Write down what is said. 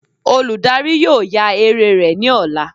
Oludari yóò ya eré rẹ ni ọla.